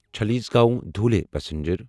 Chalisgaon Dhule passenger